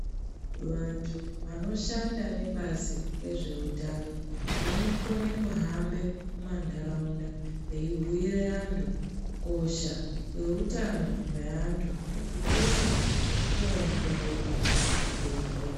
Vantu vanoshanda nebazi rezveutano, vanokone kuhambe mumantaraunda veibhuire vantu kukosha kweutano hweantu nekukosha kwekuongororwa kuzvibhedhlera.